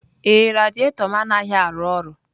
Ee, radiator m anaghị arụ ọrụ.